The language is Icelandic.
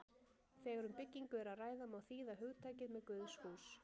Þegar um byggingu er að ræða má þýða hugtakið með guðshús.